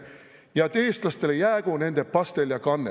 ... ja et eestlastele jäägu nende pastel ja kannel.